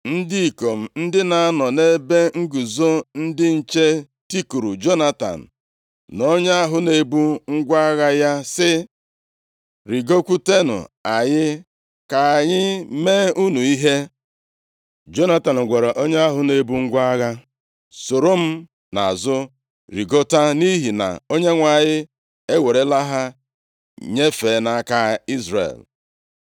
Ndị ikom ndị na-anọ nʼebe nguzo ndị nche tikuru Jonatan na onye ahụ na-ebu ngwa agha ya sị, “Rigokwutenụ anyị, ka anyị mee unu ihe.” Jonatan gwara onye ahụ na-ebu ngwa agha, “Soro m nʼazụ rigota, nʼihi na Onyenwe anyị ewerela ha nyefee nʼaka Izrel.”